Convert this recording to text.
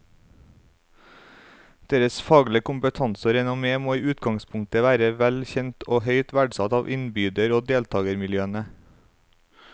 Deres faglige kompetanse og renommé må i utgangspunktet være vel kjent og høyt verdsatt av innbyder og deltagermiljøene.